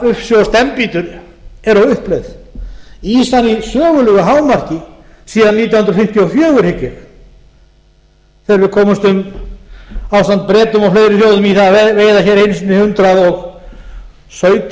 ufsi og steinbítur eru á uppleið ýsan í sögulegu hámarki síðan nítján hundruð fimmtíu og fjögur hygg ég þegar við komumst ásamt bretum og fleiri þjóðum í það að veiða hér einu sinni hundrað og sautján